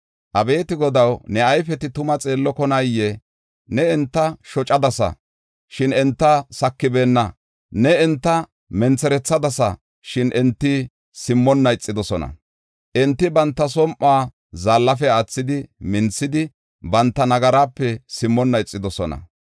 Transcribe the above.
Abeeti Godaw, ne ayfeti tumaa xeellokonaayee? Ne enta shocadasa shin enta sakibeenna. Ne enta mentherethadasa shin enti simmonna ixidosona. Enti banta som7uwa zaallafe aathidi minthidi banta nagaraape simmonna ixidosona.